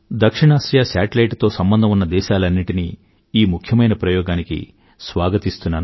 దక్షిణఆసియా శాటిలైట్ తో సంబంధం ఉన్న దేశాలన్నింటినీ ఈ ముఖ్యమైన ప్రయోగానికి స్వాగతిస్తున్నాను